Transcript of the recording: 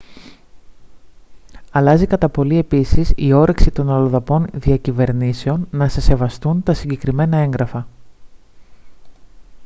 αλλάζει κατά πολύ επίσης η όρεξη των αλλοδαπών διακυβερνήσεων να σε σεβαστούν τα συγκεκριμένα έγγραφα